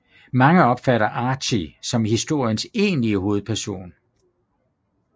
Mange opfatter Archie som historiernes egentlige hovedperson